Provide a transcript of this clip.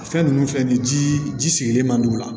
A fɛn ninnu filɛ nin ye jii ji sigilen man d'u la